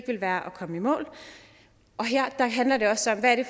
ville være at komme i mål og her handler det også om hvad det